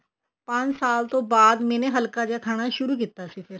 ਪੰਜ ਸਾਲ ਤੋਂ ਬਾਅਦ ਮੈਨੇ ਹਲਕਾ ਜਾ ਖਾਣਾ ਸ਼ੁਰੂ ਕੀਤਾ ਸੀ ਫੇਰ